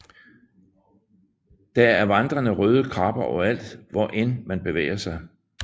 Der er vandrende røde krabber overalt hvor end man bevæger sig